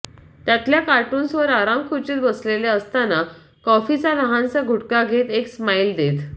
त्यातल्या कार्टून्सवर आरामखुर्चीत बसलेले असतना कॉफीचा लहानसा घुटका घेत एक स्माइल देत